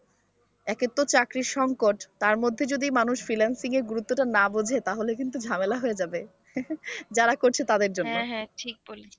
একেতো চাকরির সংকট তার মধ্যে যদি মানুষ freelancing এর গুরুত্ব টা না বুঝে তাহলে কিন্তু ঝামেলা হয়ে যাবে যারা করছে তাদের জন্য।